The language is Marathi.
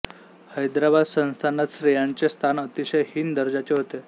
हैदराबाद संस्थानात स्त्रियांचे स्थान अतिशय हीन दर्जाचे होते